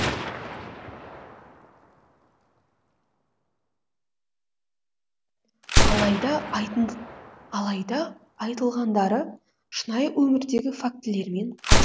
алайда алайда айтылғандары шынайы өмірдегі фактілермен